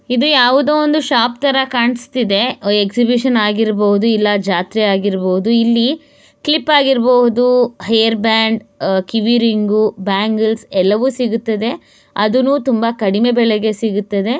ಇದು ಯಾವುದೋ ಒಂದು ಶಾಪ್ ತರ ಕಾಣ್ಸತಿದೆ ಎಕ್ಷಹಿಬಿಷನ್ ಆಗಿರ್ಬೋದು ಇಲ್ಲ ಜಾತ್ರೆ ಆಗಿರ್ಬೋದು ಇಲ್ಲಿ ಕ್ಲಿಪ್ ಆಗಿರ್ಬೋದು ಹೇರ್ ಬ್ಯಾಂಡ್ ಅಹ್ ಕಿವಿ ರಿಂಗು ಬಾಂಗೆಲ್ಸ್ ಎಲ್ಲವೂ ಸಿಗುತ್ತದೆ ಅದುನು ತುಂಬಾ ಕಡಿಮೆ ಬೆಲೆಗೆ ಸಿಗುತ್ತದೆ.